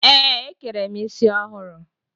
Ee, e kere m isi ọhụrụ.